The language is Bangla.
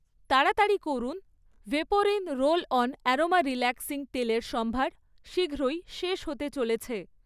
তাড়াতাড়ি করুন, Vaporin roll on aroma relaxing তেলের সম্ভার শীঘ্রই শেষ হতে চলেছে